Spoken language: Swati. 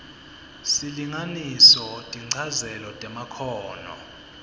silinganiso tinchazelo temakhono